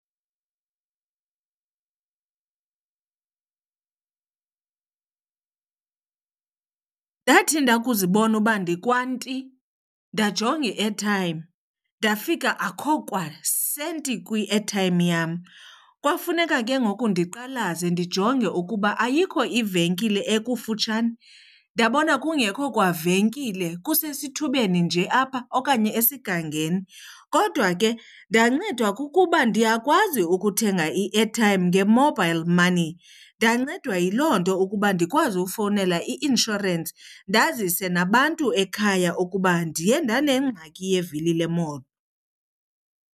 Ndathi ndakuzibona uba ndikwanti ndajonga i-airtime, ndafika akho kwasenti kwi -airtime yam. Kwafuneka ke ngoku ndiqalaze ndijonge ukuba ayikho ivenkile ekufutshane, ndabona kungekho kwa venkile kusesithubeni nje apha okanye esigangeni. Kodwa ke ndancedwa kukuba ndiyakwazi ukuthenga i-airtime nge-mobile money. Ndancedwa yiloo nto ukuba ndikwazi ufowunela i-inshorensi ndazise nabantu ekhaya ukuba ndiye ndanengxaki yevili lemoto.